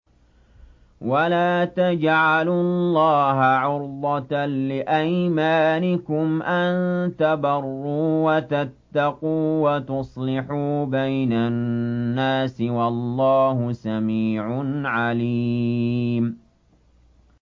وَلَا تَجْعَلُوا اللَّهَ عُرْضَةً لِّأَيْمَانِكُمْ أَن تَبَرُّوا وَتَتَّقُوا وَتُصْلِحُوا بَيْنَ النَّاسِ ۗ وَاللَّهُ سَمِيعٌ عَلِيمٌ